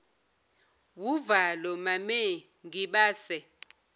wuvalo mame ngibase